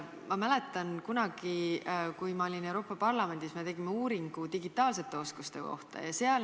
Ma mäletan, kunagi, kui ma olin Euroopa Parlamendis, me tegime uuringu digitaalsete oskuste kohta.